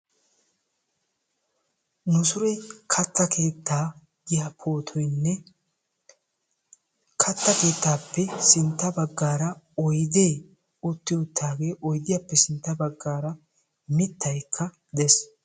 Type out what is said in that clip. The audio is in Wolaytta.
Nu soy katta keetta giya pootoynne katta keettaappe sintta baggaara oydee uttiwuttaagee, oydiyappe sintta baggaara mittaykka dees.